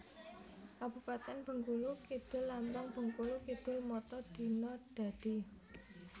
Kabupatèn Bengkulu KidulLambang Bengkulu KidulMotto Dina Dadi